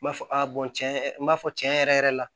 N b'a fɔ a tiɲɛ yɛrɛ n b'a fɔ tiɲɛ yɛrɛ yɛrɛ la